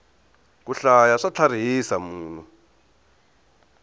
ku hlaya swa tlharihisa munhu